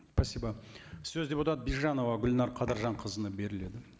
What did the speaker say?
спасибо сөз депутат бижанова гүлнәр қадыржанқызына беріледі